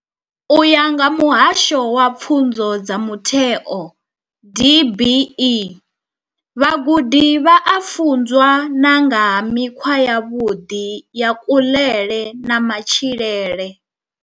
U ya nga vha muhasho wa pfunzo dza mutheo DBE, vhagudi vha a funzwa na nga ha mikhwa yavhuḓi ya kuḽele na matshilele.